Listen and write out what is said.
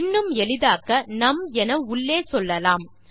இன்னும் எளிதாக்க நும் என உள்ளே சொல்லலாம்